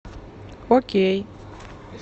окей